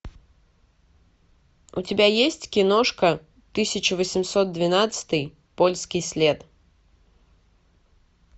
у тебя есть киношка тысяча восемьсот двенадцатый польский след